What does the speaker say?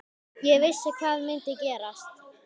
Ég vissi hvað myndi gerast.